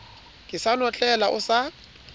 ke sa notlela o sa